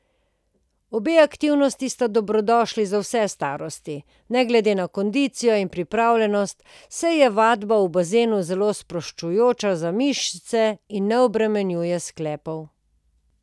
Obe aktivnosti sta dobrodošli za vse starosti, ne glede na kondicijo in pripravljenost, saj je vadba v bazenu zelo sproščujoča za mišice in ne obremenjuje sklepov.